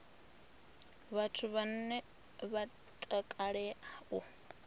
vhathu vhane vha takalea u